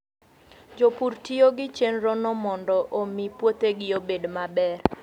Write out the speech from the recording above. Jopur tiyo gi chenrono mondo omi puothegi obed maber.